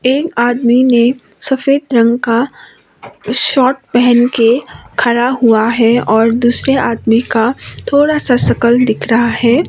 एक आदमी ने सफेद रंग का शर्ट पहन के खड़ा हुआ है और दूसरे आदमी का थोड़ा सा शकल दिख रहा है।